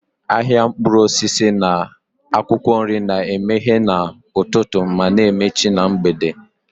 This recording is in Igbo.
Ahịa mkpụrụ osisi na akwụkwọ nri na-emeghe n'ụtụtụ ma na-emechi na mgbede.